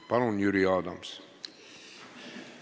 Palun, Jüri Adams!